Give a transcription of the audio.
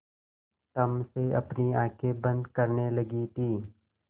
तम से अपनी आँखें बंद करने लगी थी